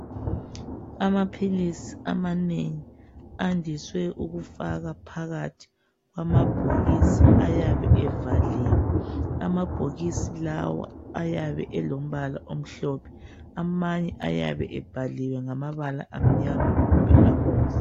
Amaphilisi amanengi andiswe ukufakwa phakathi kwamabhokisi ayabe evaliwe. Amabhokisi lawa ayabe elombala omhlophe. Amamnye ayabe ebhaliwe ngamabala amnyama kumbe abomvu.